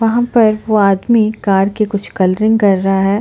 वहाँ पर वो आदमी कार के कुछ कलरिंग कर रहा है।